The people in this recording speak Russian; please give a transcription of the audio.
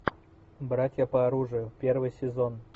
братья по оружию первый сезон